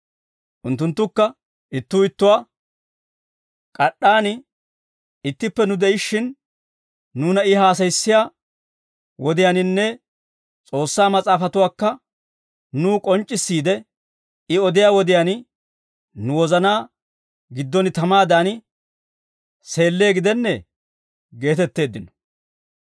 Unttunttukka ittuu ittuwaa, «K'ad'd'aan ittippe nu de'ishshin, nuuna I haasayissiyaa wodiyaaninne S'oossaa mas'aafatuwaakka nuw k'onc'c'issiide I odiyaa wodiyaan, nu wozanaa giddon tamaadan seellee gidennee?» geetetteeddino.